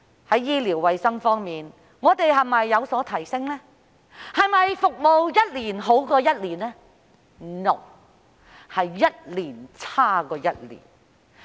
在醫療衞生方面，我們是否有所提升，服務是否一年比一年好呢？